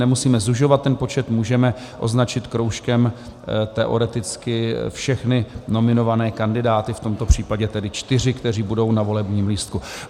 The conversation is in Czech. Nemusíme zužovat ten počet, můžeme označit kroužkem teoreticky všechny nominované kandidáty, v tomto případě tedy čtyři, kteří budou na volebním lístku.